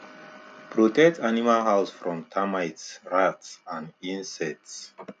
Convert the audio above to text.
protect animal house from termite rat and insect